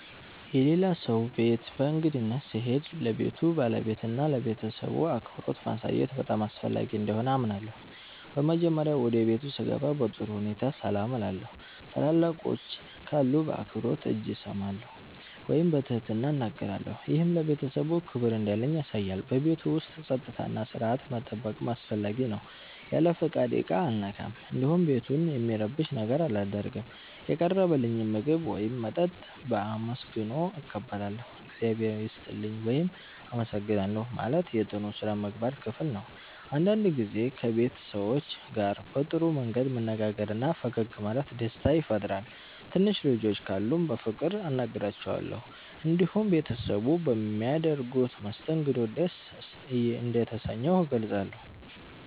የሌላ ሰው ቤት በእንግድነት ስሄድ ለቤቱ ባለቤትና ለቤተሰቡ አክብሮት ማሳየት በጣም አስፈላጊ እንደሆነ አምናለሁ። በመጀመሪያ ወደ ቤቱ ስገባ በጥሩ ሁኔታ ሰላም እላለሁ። ታላላቆች ካሉ በአክብሮት እጅ እሰማለሁ ወይም በትህትና እናገራለሁ። ይህ ለቤተሰቡ ክብር እንዳለኝ ያሳያል። በቤቱ ውስጥ ጸጥታና ሥርዓት መጠበቅም አስፈላጊ ነው። ያለ ፍቃድ ዕቃ አልነካም፣ እንዲሁም ቤቱን የሚረብሽ ነገር አላደርግም። የቀረበልኝን ምግብ ወይም መጠጥ በአመስግኖ እቀበላለሁ። “እግዚአብሔር ይስጥልኝ” ወይም “አመሰግናለሁ” ማለት የጥሩ ሥነ ምግባር ክፍል ነው። አንዳንድ ጊዜ ከቤት ሰዎች ጋር በጥሩ መንገድ መነጋገርና ፈገግ ማለት ደስታ ይፈጥራል። ትንሽ ልጆች ካሉም በፍቅር አናግራቸዋለሁ። እንዲሁም ቤተሰቡ በሚያደርጉት መስተንግዶ ደስ እንደተሰኘሁ እገልጻለሁ።